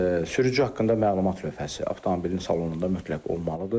Sürücü haqqında məlumat lövhəsi avtomobilin salonunda mütləq olmalıdır.